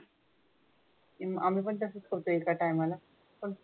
पण आमी पण तशेच खातो एका टायमाला.